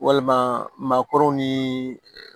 Walima maakɔrɔw ni